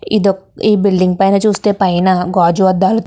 ఇది ఒక ఈ బిల్డింగ్ పైన గాజు వదహ --